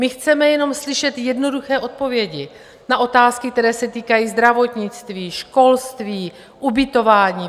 My chceme jenom slyšet jednoduché odpovědi na otázky, které se týkají zdravotnictví, školství, ubytování.